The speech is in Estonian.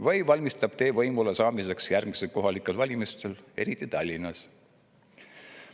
Või valmistab teed võimule saamiseks järgmistel kohalikel valimistel, eriti Tallinnas.